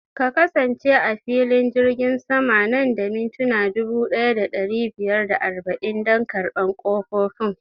Ka kasance a filin jirgin sama nan da mintuna dubu ɗaya da ɗari biyar da arba'in dan karɓan ƙofofin